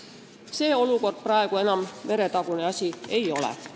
See olukord praegu enam meretagune asi ei ole.